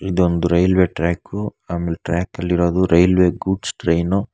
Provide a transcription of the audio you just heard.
ಇದೊಂದು railway track ಆಮೇಲ್ ಟ್ರ್ಯಕಲ್ಲಿರೋದು ರೈಲ್ವೆ ಗೂಡ್ಸ್ ಟ್ರೈನು.